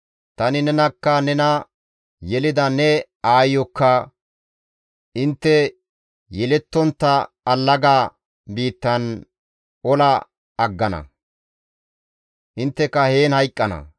Tani nenakka nena yelida ne aayeyokka intte yelettontta allaga biittan ola aggana; intteka heen hayqqana.